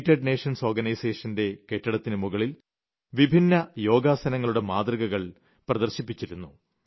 United Nations organisation യുടെ കെട്ടിടത്തിന് മുകളിൽ വിഭിന്ന യോഗാസനങ്ങളുടെ മാതൃകകൾ പ്രദർശിപ്പിച്ചിരുന്നു